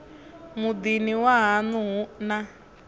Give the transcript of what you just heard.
muḓini wa haṋu hu na